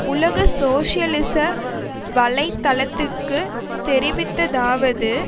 உலக சோசியலிச வலை தளத்துக்கு தெரிவித்த்தாவது